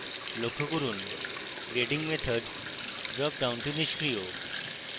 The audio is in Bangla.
লক্ষ্য করুন grading method ড্রপডাউনটি নিষ্ক্রিয়